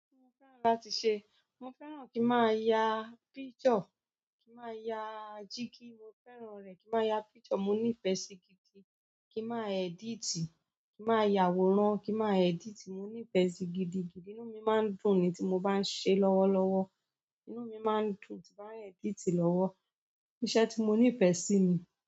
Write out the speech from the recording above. Kíni o fẹ́ràn láti ṣe? Mo fẹ́ràn kí n má ya picture, kín má ya chicken. Mo fẹ́ràn rẹ̀. Kí n máa ya picture. Mo nífẹ̀ẹ́ sí gidi. Kí n máa edit, kí n máa yàwòrán, kí n máa edit. Mo nífẹ̀ẹ́ sí gidi gidi. Inú mi máa ń dùn ni tí mo bá ń ṣe lọ́wọ́lọ́wọ́. Inú mi máa ń dùn tí bá ń edit lọ́wọ́. Iṣẹ́ tí mo nífẹ̀ẹ́ sí ni.